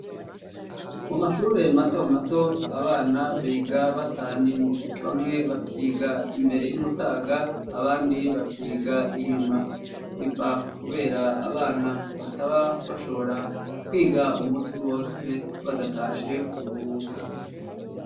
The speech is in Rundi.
mu mashure mato mato abana biga batanimbu bamwe bakiga imbere y'umutaga abandi bakiga inyuma biva kubera abana bataba bashobora kwiga umunsi wose badatashe kuruhuka